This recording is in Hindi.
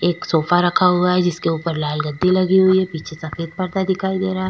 एक सोफा रखा हुआ है जिसके ऊपर लाल गद्दी लगी हुई है पीछे सफेद पर्दा दिखाई दे रहा है ।